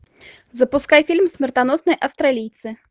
запускай фильм смертоносные австралийцы